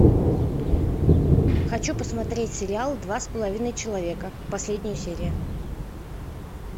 хочу посмотреть сериал два с половиной человека последняя серия